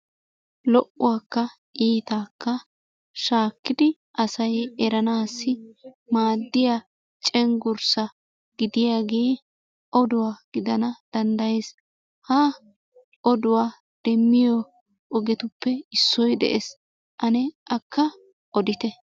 Lo"uwakka iittaakka shaakkidi asay eranaassi maadiya cenggurssa gidiyagee oduwa gidana danddayees. Ha oduwa demmiyo ogetuppe issoy de'ees, ane akka oddite.